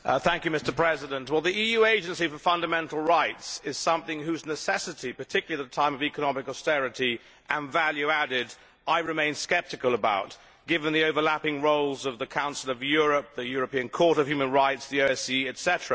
Mr President, the EU Agency on Fundamental Rights is something whose necessity particularly at a time of economic austerity and value added I remain sceptical about, given the overlapping roles of the Council of Europe, the European Court of Human Rights, the OSCE, etc.